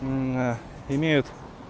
на имеют